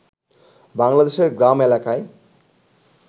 বাংলাদেশের গ্রাম এলাকায়